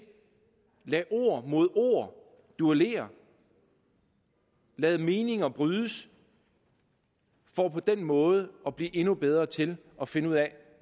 lade ord mod ord duellere lade meninger brydes for på den måde at blive endnu bedre til at finde ud af